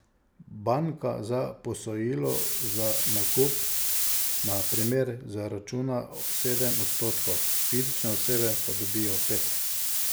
Banka za posojilo za nakup na primer zaračuna sedem odstotkov, fizične osebe pa dobijo pet.